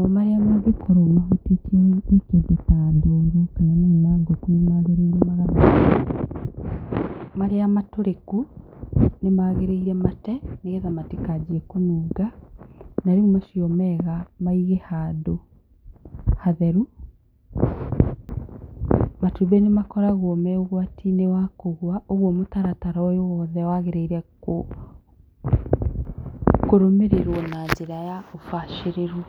ũgacaria handũ hega ha gwĩkĩra namo marĩa mangĩ korwo mahutĩtio nĩ kĩndũ ta ndoro kana mai ma ngũkũ nĩ magĩrĩire magathambio, marĩa matũrĩku nĩ magĩrĩire mate nĩguo matigathiĩ kũnunga na rĩu macio mega maige handũ hatheru matumbĩ nĩ makoragwo marĩ ũgwati-inĩ wa kũgua ũguo mũtaratara ũyũ wothe wagĩrĩire kũrũmĩrĩrwo na ũbacĩrĩru.